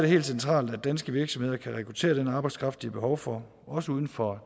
helt centralt at danske virksomheder kan rekruttere den arbejdskraft de har behov for også uden for